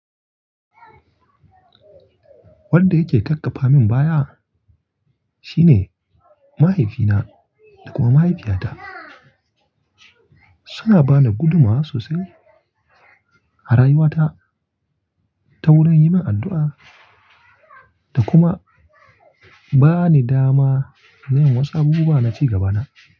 Wanda yake kakkafa min baya shine mahaifina da kuma mahaifiyata. Suna bani gudunmawa sosai a rayuwata ta wurin yi min addu'a da kuma bani dama na yin wasu. Abu buwa na ci gaba na.